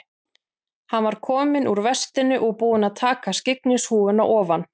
Hann var kominn úr vestinu og búinn að taka skyggnishúfuna ofan.